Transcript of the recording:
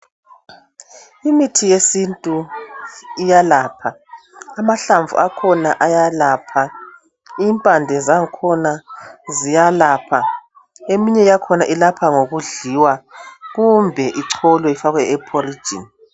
Imithi yesintu iyelapha amahlamvu akhona ayalapha impande zakhona ziyalapha eminye yakhona ilapha ngokudliwa kumbe icholwe ifakwe elambazini.